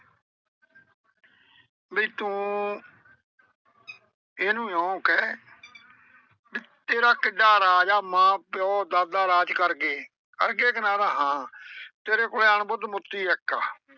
ਵੀ ਤੂੰ ਇਹਨੂੰ ਇਉਂ ਕਹਿ ਵੀ ਤੇਰਾ ਕਿੱਡਾ ਰਾਜ ਆ, ਮਾਂ ਪਿਓ ਦਾਦਾ ਰਾਜ ਕਰ ਗਏ। ਕਰ ਗਏ ਕਿ ਨਾ ਆਂਹਦਾ ਹਾਂ, ਤੇਰੇ ਕੋਲ ਆਣ ਬੁੱਧ ਮੋਤੀ ਇੱਕ ਆ